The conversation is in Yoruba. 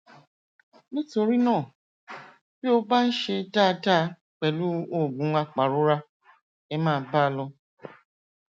nítorí náà bí ó bá ń ṣe dáadáa pẹlú oògùn apàrora ẹ máa bá a lọ